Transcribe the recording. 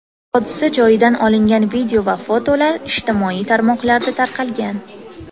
Hodisa joyidan olingan video va fotolar ijtimoiy tarmoqlarda tarqalgan.